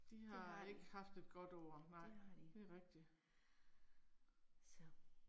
Det har de. Det har de. Så